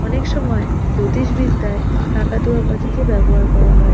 অনেক সময় জ্যোতিষ বিদ্যায় কাকাতুয়া পাখিকে ব্যবহার করা হয়।